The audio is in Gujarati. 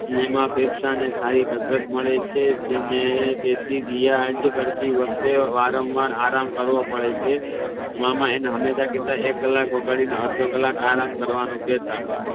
એમાં ફેફસા ને સારી કસરત મળે છે જેથી રિયાઝ ના વચ્ચે વારંવાર આરામ કરવો પડે છે મામા આઈ ને હંમેશા કેહતા એક કલાક વગાડીને અડધો કલાક આરામ કરવાનો કેહતા